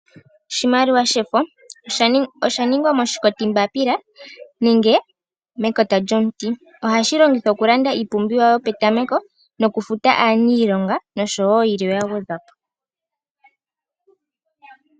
Oshimaliwa shefo, oshaningwa moshikotimbaapila nenge mekota lyomuti. Ohashi longithwa okulanda iipumbiwa yopetameko nokufuta aaniilonga noshowo yilwe ya gwedhwa po.